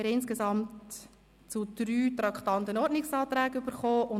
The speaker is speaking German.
Wir haben insgesamt zu drei Traktanden Ordnungsanträge erhalten.